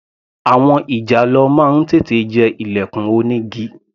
Àwọn ìjàlọ máa ń tètè jẹ ilẹ̀kùn onígi.